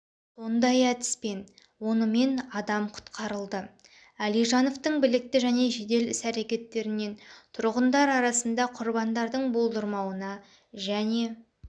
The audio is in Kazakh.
сондай әдіспен онымен адам құтқарылды алижановтың білікті және жедел іс-әрекеттерінен тұрғындар арасында құрбандардың болдырмауына және